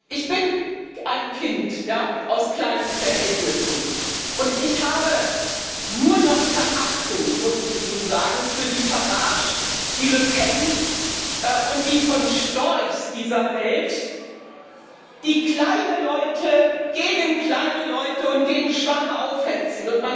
Ich bin ein Kind aus kleinen Verhältnissen, und ich habe nur noch Verachtung, muss ich Ihnen sagen, für die Farages, die Le Pens und die von Storchs dieser Welt, die kleine Leute gegen kleine Leute und gegen Schwache aufhetzen.